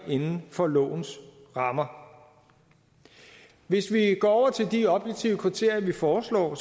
inden for lovens rammer hvis vi går over til de objektive kriterier vi foreslår